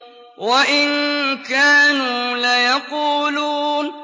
وَإِن كَانُوا لَيَقُولُونَ